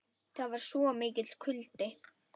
Það var svo mikill kuldi.